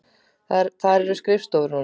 Þar eru skrifstofur núna.